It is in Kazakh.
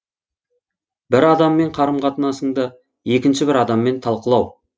бір адаммен қарым қатынасыңды екінші бір адаммен талқылау